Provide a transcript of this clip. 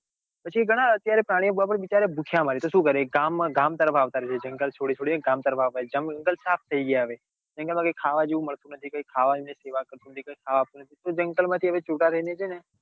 પછી ઘણા અત્યારે પ્રાણીઓ બિચારા ભૂખ્યા મરે તો સુ કરે ગામ માં ગામ તરફ આવતા રે છે. જંગલ છોડી છોડી ગામ તરફ આવતા રે છે જંગલ હવે સાફ થઇ ગયા હવે જંગલ માં કઈ હવે ખાવા જેવું મળતું નઈ કઈ ખાવા જેવું કે કઈ સેવા કરતુ નથી કે તો જંગલ માંથી છુટા થઈને છે ને